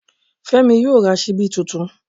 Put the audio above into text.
Fẹ́mi yóò ra ṣíbí tuntun